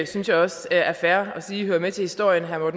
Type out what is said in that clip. synes jeg også er fair at sige hører med til historien at herre